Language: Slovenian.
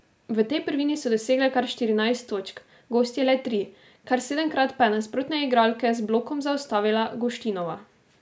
V tej prvini so dosegle kar štirinajst točk, gostje le tri, kar sedemkrat pa je nasprotne igralke z blokom zaustavila Guštinova.